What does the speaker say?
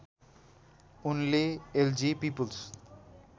उनले LG people's